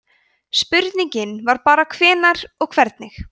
spurningin var bara hvenær og hvernig